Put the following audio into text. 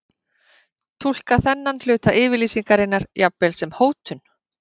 Túlka þennan hluta yfirlýsingarinnar jafnvel sem hótun?